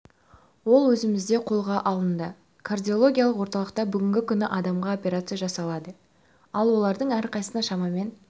ол өзімізде қолға алынды кардиологиялық орталықта бүгінгі күні адамға операция жасалады ал олардың әрқайсысына шамамен